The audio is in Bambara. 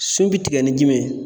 Sun bɛ tigɛ ni jumɛn ye?